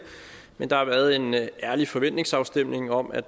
men der har været en ærlig forventningsafstemning om at